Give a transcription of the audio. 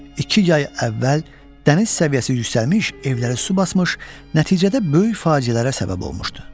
İki yay əvvəl dəniz səviyyəsi yüksəlmiş, evləri su basmış, nəticədə böyük faciələrə səbəb olmuşdu.